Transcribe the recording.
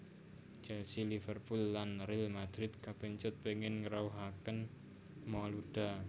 Chelsea Liverpooll lan Real Madrid kapèncut pèngin ngrawuhaken Malouda